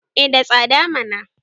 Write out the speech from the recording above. eh da tsada mana